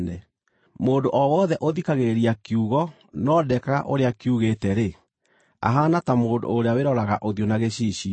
Mũndũ o wothe ũthikagĩrĩria kiugo no ndekaga ũrĩa kiugĩte-rĩ, ahaana ta mũndũ ũrĩa wĩroraga ũthiũ na gĩcicio,